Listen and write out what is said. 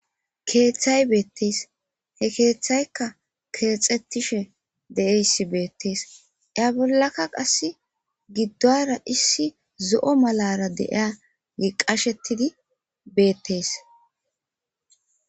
keeththay beettees he keeththaykka keexxettishe de7iyayssi beettees iza bollaka qassi giddora issi zo7o malara deiya yi qashettidi beettees